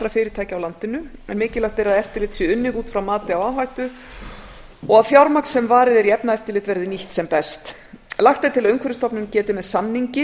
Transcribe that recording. fyrirtækja á landinu mikilvægt er að eftirlit sé unnið út frá mati á áhættu og að fjármagn sem varið er í efnaeftirlit verði nýtt sem best lagt er til að umhverfisstofnun geti með samningi